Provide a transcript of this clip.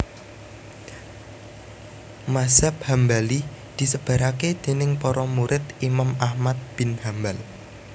Mazhab Hambali disebaraké déning para murid Imam Ahmad bin Hambal